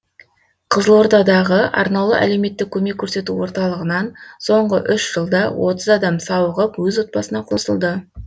қызылордадағы арнаулы әлеуметтік көмек көрсету орталығынан соңғы үш жылда отыз адам сауығып өз отбасына қосылды